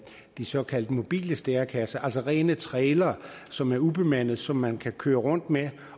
de såkaldte mobile stærekasser altså rene trailere som er ubemandede og som man kan køre rundt med